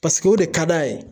o de ka d'a ye